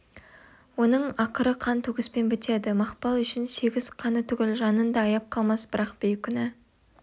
оның ақыры қан төгіспен бітеді мақпал үшін сегіз қаны түгіл жанын да аяп қалмас бірақ бейкүнә